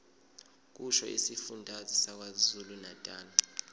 kusho isifundazwe sakwazulunatali